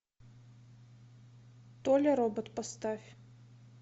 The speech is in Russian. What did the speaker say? толя робот поставь